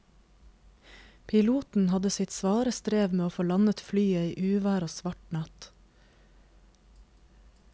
Piloten hadde sitt svare strev med å få landet flyet i uvær og svart natt.